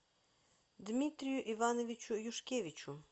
дмитрию ивановичу юшкевичу